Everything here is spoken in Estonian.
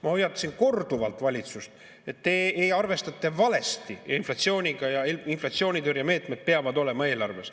Ma hoiatasin korduvalt valitsust, et te arvestate valesti inflatsiooniga, inflatsioonitõrjemeetmed peavad olema eelarves.